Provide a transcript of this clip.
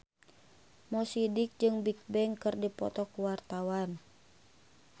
Mo Sidik jeung Bigbang keur dipoto ku wartawan